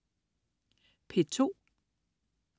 P2: